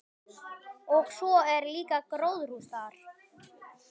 Og svo er líka gróðurhús þar.